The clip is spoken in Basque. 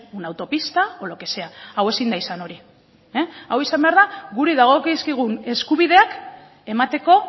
una autopista o lo que sea hau ezin da izan hori hau izan behar da guri dagokizkigun eskubideak emateko